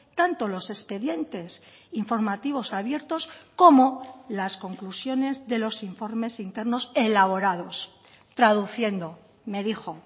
tanto los expedientes informativos abiertos como las conclusiones de los informes internos elaborados traduciendo me dijo